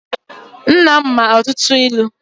Nna m ma ọtụtụ ilu.